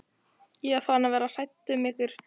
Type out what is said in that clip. Ég var farin að verða hrædd um ykkur.